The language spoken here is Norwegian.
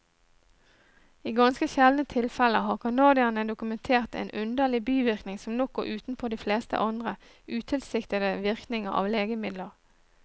I ganske sjeldne tilfeller har canadierne dokumentert en underlig bivirkning som nok går utenpå de fleste andre utilsiktede virkninger av legemidler.